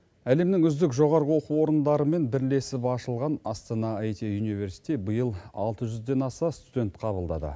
әлемнің үздік жоғарғы оқу орындарымен бірлесіп ашылған астана айти юниверсити биыл алты жүзден аса студент қабылдады